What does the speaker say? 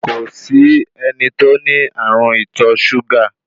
Kòsí ẹni tó ní ààrùn ìtọ súgà